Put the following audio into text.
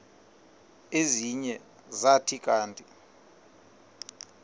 ezinye zathi kanti